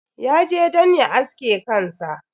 Ya je don ya aske kansa.